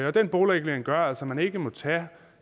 og den boligregulering gør altså at man ikke må tage